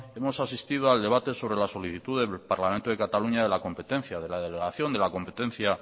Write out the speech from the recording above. hemos asistido al debate sobre la solicitud del parlamento de cataluña de la competencia de la delegación de la competencia